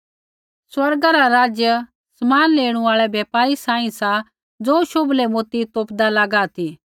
स्वर्ग रा राज्य समान लेणू आल़ै व्यापारी सांही सा ज़ो शोभलै मोती तोपदा लागा ती